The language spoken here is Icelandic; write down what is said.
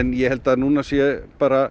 en ég held að núna sé bara